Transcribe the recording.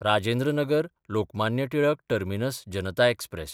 राजेंद्र नगर–लोकमान्य Tilak terminus Janata express